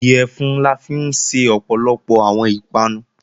Iyẹ̀fun la fi ń ṣe ọ̀pọ̀lọpọ̀ àwọn ìpanu